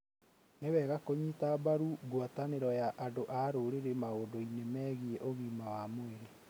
Nĩ wega kũnyita mbaru ngwatanĩro ya andũ a rũrĩrĩ maũndũ-inĩ megiĩ ũgima wa mwĩrĩ.